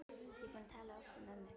Ég er búin að tala oft um ömmu.